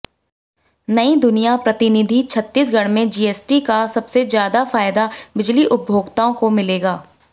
नईदुनिया प्रतिनिधि छत्तीसगढ़ में जीएसटी का सबसे ज्यादा फायदा बिजली उपभोक्ताओं को मिलेगा